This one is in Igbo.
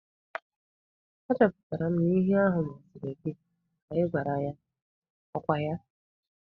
Achọpụtara m na ihe ahụ masịrị gị ka ị gwara ya. Ọ kwa ya?